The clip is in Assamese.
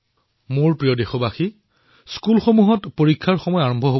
মোৰ মৰমৰ দেশবাসীসকল বিদ্যালয়সমূহত পৰীক্ষা আৰম্ভ হব